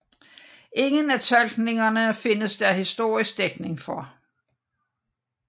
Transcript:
Ingen af tolkningerne findes der historisk dækning for